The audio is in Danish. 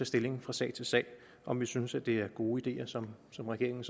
stilling fra sag til sag om vi synes at det er gode ideer som som regeringen